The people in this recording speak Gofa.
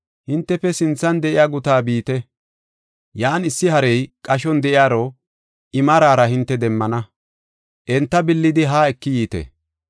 “Hintefe sinthan de7iya guta biite. Yan issi harey qashon de7iyaro I maarara hinte demmana. Enta billidi haa eki yiite.